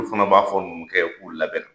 Olu fana b'a fɔ numukɛ ye k'u labɛn na